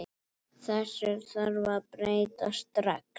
Þessu þarf að breyta strax.